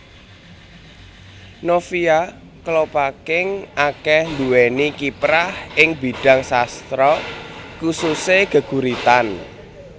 Novia Kolopaking akéh nduwéni kiprah ing bidhang sastra khususe geguritan